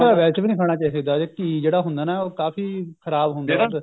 ਵੈਸੇ ਵੀ ਨਹੀਂ ਖਾਣਾ ਚਾਹਿਦਾ ਇਹ ਘੀ ਜਿਹੜਾ ਹੁੰਦਾ ਹੈ ਨਾ ਕਾਫੀ ਖ਼ਰਾਬ ਹੁੰਦਾ